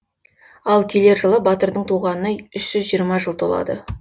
ал келер жылы батырдың туғанына үш жүз жиырма жыл толады